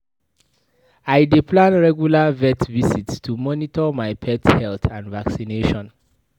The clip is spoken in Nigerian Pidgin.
I dey plan regular vet visits to monitor my pet health and vaccinations.